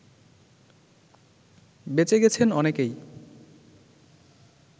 বেঁচে গেছেন অনেকেই